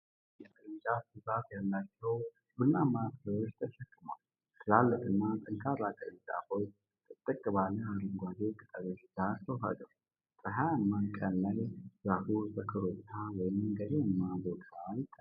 የአንድ ትልቅ ዛፍ ቅርንጫፎች ብዛት ያላቸውን ቡናማ ፍሬዎች ተሸክመዋል። ትላልቅና ጠንካራ ቅርንጫፎች ጥቅጥቅ ባለ አረንጓዴ ቅጠሎች ጋር ተዋህደዋል። ፀሐያማ ቀን ላይ ዛፉ በኮረብታ ወይም ገደልማ ቦታ ይታያል።